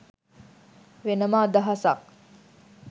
වෙනම අදහසක්.